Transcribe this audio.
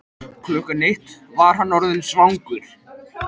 Klukkan eitt var hann orðinn svangur.